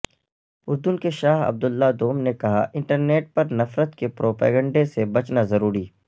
اردن کے شاہ عبداللہ دوم نے کہا انٹرنیٹ پر نفرت کے پروپیگنڈہ سے بچنا ضروری